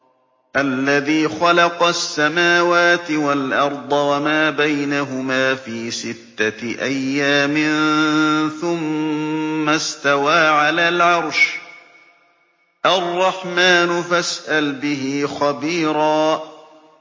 الَّذِي خَلَقَ السَّمَاوَاتِ وَالْأَرْضَ وَمَا بَيْنَهُمَا فِي سِتَّةِ أَيَّامٍ ثُمَّ اسْتَوَىٰ عَلَى الْعَرْشِ ۚ الرَّحْمَٰنُ فَاسْأَلْ بِهِ خَبِيرًا